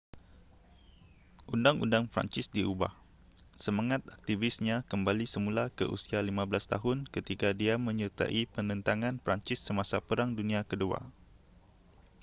undang-undang perancis diubah semangat aktivisnya kembali semula ke usia 15 tahun ketika dia menyertai penentangan perancis semasa perang dunia ke-2